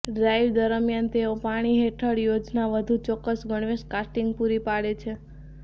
dive દરમિયાન તેઓ પાણી હેઠળ યોજના વધુ ચોક્કસ ગણવેશ કાસ્ટિંગ પૂરી પાડે છે